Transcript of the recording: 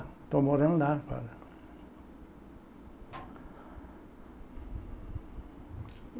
Estou morando lá agora.